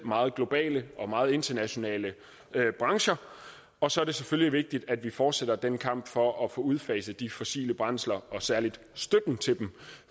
meget globale og meget internationale brancher og så er det selvfølgelig vigtigt at vi fortsætter den kamp for at få udfaset de fossile brændsler og særlig støtten til dem